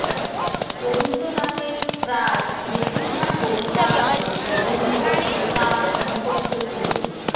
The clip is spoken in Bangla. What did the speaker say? রবীন্দ্রনাথের প্রায় বেশিরভাগ কবিতা ও প্রবন্ধ তাঁর মুখস্থ ছিল